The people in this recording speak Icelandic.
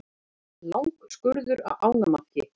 Langskurður á ánamaðki.